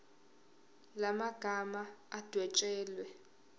la magama adwetshelwe